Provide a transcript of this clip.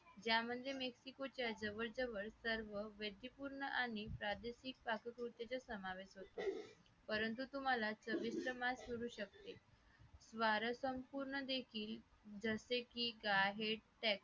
जा म्हणजे mescue चा जवळ जवळ सर्व veage पूर्ण प्रादेशिक पाककृती समाविष्ट होते परंतु तुम्हाला चविष्ट मास करू शकते जसे की gyahead